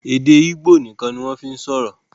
èdè igbó nìkan ni wọ́n fí ń sọ̀rọ̀